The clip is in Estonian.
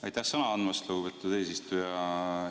Aitäh sõna andmast, lugupeetud eesistuja!